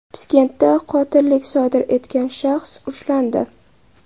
Piskentda qotillik sodir etgan shaxs ushlandi.